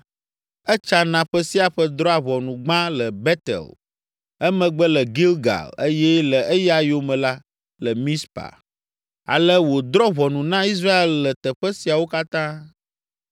Etsana ƒe sia ƒe drɔ̃a ʋɔnu gbã le Betel, emegbe le Gilgal eye le eya yome la, le Mizpa. Ale wòdrɔ̃a ʋɔnu na Israel le teƒe siawo katã.